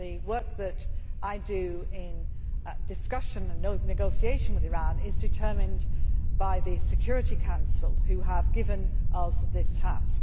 The work that I do in discussion and negotiation with Iran is determined by the Security Council who have given us this task.